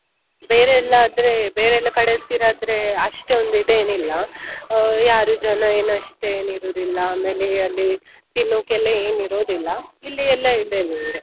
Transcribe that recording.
ಬೇರೆಲ್ಲ ಕಡಲ್ ತೀರಾ ಆದ್ರೆ ಅಷ್ಟೊಂದ್ ಇದೇನ್ ಇಲ್ಲ ಯಾರು ಜನ ಏನ್ ಅಷ್ಟೊಂದ್ ಏನ್ ಇರುದಿಲ್ಲ ಆಮೇಲೆ ಅಲ್ಲಿ ತಿನ್ನೋಕೆ ಏನ್ ಇರುದಿಲ್ಲ ಇಲ್ಲಿ ಇವ್ರೆ.